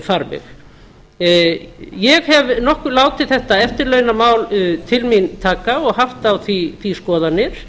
farveg ég hef nokkuð látið þetta eftirlaunamál til mín taka og haft á því skoðanir